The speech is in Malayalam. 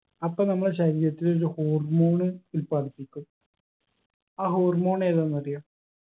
അപ്പൊ നമ്മളെ ശരീരത്തിൽ ഒരു hormone ഉൽപ്പാദിപ്പിക്കും ആ hormone ഏതാന്നറിയോ